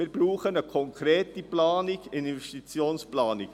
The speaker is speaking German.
Wir brauchen eine konkrete Investitionsplanung.